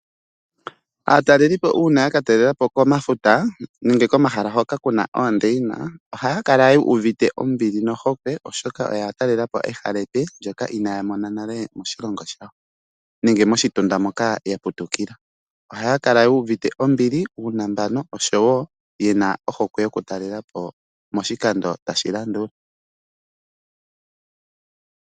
Aatalelipo uuna yaka taalelapo komafuta nenge komahala hoka kuna oondeyina, ohaya kala yuuvite ombili nohokwe oshoka oya talelapo ehala epe ndyoka inaya mona nale moshilongo shayo nenge moshitunda moka yaputukila. Ohaya kala yuuvite ombili, uunambano oshowoo ohokwe yokutaalelapo moshikando tashi ya.